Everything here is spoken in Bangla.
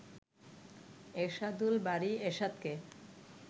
এরশাদুল বারী এরশাদকে